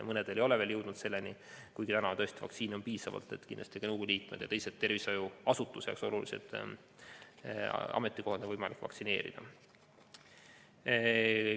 Mõned ei ole veel jõudnud selleni, kuigi täna on vaktsiini piisavalt, nii et kindlasti ka nõukogu liikmed ja teised tervishoiuasutuse jaoks olulisel ametikohal olijad on võimalik vaktsineerida.